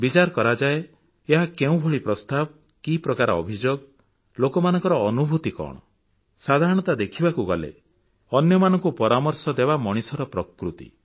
ବିଚାର କରାଯାଏ ଯେ ଏହା କେଉଁଭଳି ପ୍ରସ୍ତାବ କି ପ୍ରକାର ଅଭିଯୋଗ ଲୋକମାନଙ୍କ ଅନୁଭୂତି କଣ ସାଧାରଣତଃ ଦେଖିବାକୁ ଗଲେ ଅନ୍ୟମାନଙ୍କୁ ପରାମର୍ଶ ଦେବା ମଣିଷର ପ୍ରକୃତି